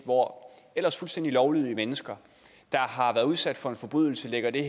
hvor ellers fuldstændig lovlydige mennesker der har været udsat for en forbrydelse lægger det